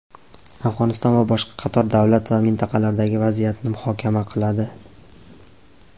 Afg‘oniston va boshqa qator davlat va mintaqalardagi vaziyatni muhokama qiladi.